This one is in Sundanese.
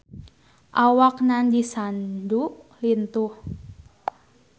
Awak Nandish Sandhu lintuh